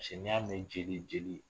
n'i y'a mɛn jeli jeli